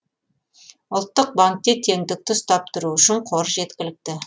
ұлттық банкте теңдікті ұстап тұру үшін қор жеткілікті